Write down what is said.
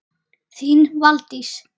Þín Valdís.